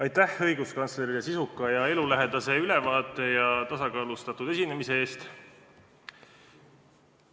Aitäh õiguskantslerile sisuka ja elulähedase ülevaate ja tasakaalustatud esinemise eest!